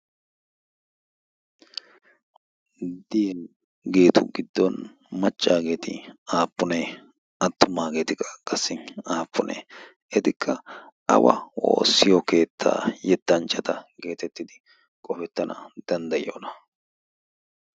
Diyageetu giddon machchaageeti aappunee attumaageetikka qassi aappunee etikka awa woossiyo keettaa yettanchchata geetettidi qofettana danddayiyoona